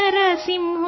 ಹೇ Veera Narasimha